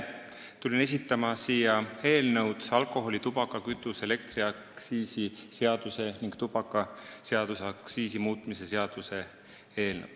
Tulin siia esitlema alkoholi-, tubaka-, kütuse- ja elektriaktsiisi seaduse ning tubakaseaduse muutmise seaduse eelnõu.